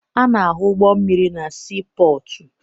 A na-ahụ ụgbọ mmiri na siipọọtụ